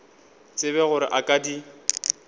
tsebe gore a ka di